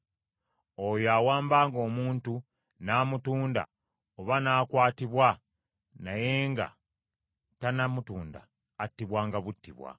“Oyo awambanga omuntu n’amutunda oba n’akwatibwa naye nga tannamutunda attibwanga buttibwa.